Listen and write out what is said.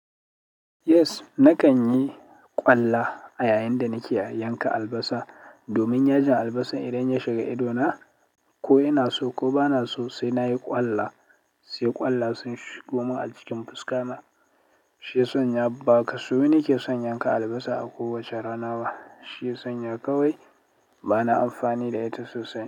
Yes, nakan yi kwalla a yayin da nake yanka albasa domin yajin albasa idan ya shiga ido na, ko ina so ko bana so sai nayi kwalla, sai ƙwalla sun shigo min a cikin fuska na. Shi ya sanya ba kaso na ke son yanka albasa a kowace rana ba. Shi ya sanya kawai bana amfani da ita sosai.